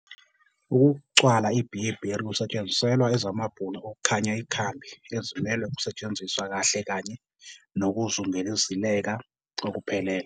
Ukucwala i-Bearberry kwisetshenziselwa ezamabhunu okukhanya ikhambi ezimelwe ukusetshenziswa kahle kanye nokuzungezileka okuphelele.